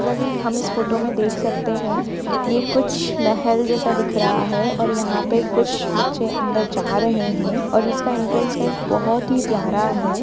जैसा कि हम इस फोटो में देख सकते है ये कुछ महल जैसा दिख रहा हैं और यहां पे कुछ बच्चे अंदर जा रहे हैं और इसका एन्ट्रन्स गेट बहुत ही प्यारा है।